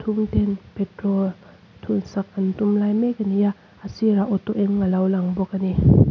petrol thun sak an tum lai mek a ni a a sir ah auto eng a lo lang bawk a ni.